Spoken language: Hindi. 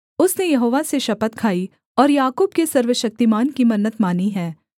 उसने यहोवा से शपथ खाई और याकूब के सर्वशक्तिमान की मन्नत मानी है